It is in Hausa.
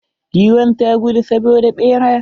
Giwn ta gudu saboda ɓera.